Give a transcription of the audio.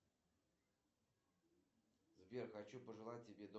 джой какие маргарет картер ты знаешь